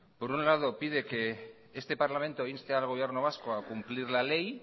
por un lado pide que este parlamento inste al gobierno vasco a cumplir la ley